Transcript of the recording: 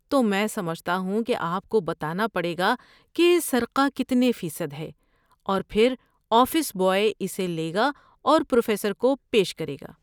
تو، میں سمجھتا ہوں کہ آپ کو بتانا پڑے گا کہ سرقہ کتنے فیصد ہے، اور پھر آفس بوائے اسے لے گا اور پروفیسر کو پیش کرے گا۔